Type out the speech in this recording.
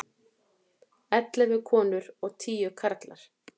Ellefu konur og tíu karlar.